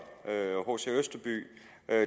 hc østerby